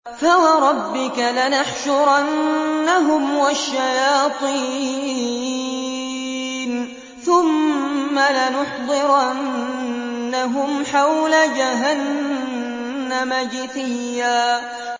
فَوَرَبِّكَ لَنَحْشُرَنَّهُمْ وَالشَّيَاطِينَ ثُمَّ لَنُحْضِرَنَّهُمْ حَوْلَ جَهَنَّمَ جِثِيًّا